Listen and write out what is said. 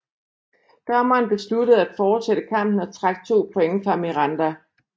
Dommeren besluttede at fortsætte kampen og trak to point fra Miranda